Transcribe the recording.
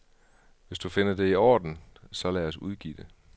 Hvis du finder det i orden, så lad os udgive det.